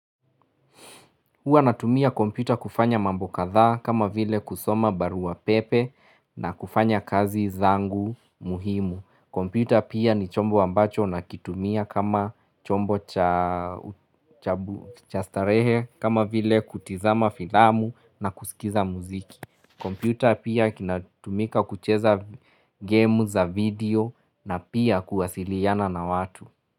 Huwa natumia kompita kufanya mambo kadhaa kama vile kusoma barua pepe na kufanya kazi zangu muhimu. Kompyuta pia ni chombo ambacho nakitumia kama chombo cha chastarehe kama vile kutizama filamu na kusikiza muziki. Kompyuta pia kinatumika kucheza game za video na pia kuwasiliyana na watu.